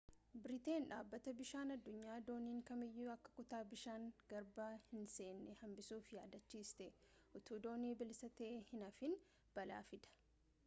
biriteen dhabbata biishaan addunyaa dooniin kamiiyyu akka kutaa bishaanii garbaa hin senne hambisuf yaadachiiste utuu doonii bilisa ta'ee hin hafiin balaa fida